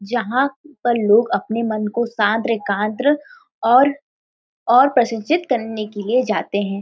जहाँ पर लोग अपने मन को शांत्र (शांत ) एकांतर और और प्रसन्नचित्त करने के लिए जाते हैं |